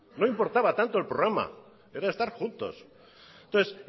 no importaba tanto el programa era estar juntos entonces